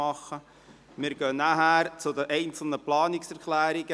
Anschliessend gehen wir zu den einzelnen Planungserklärungen.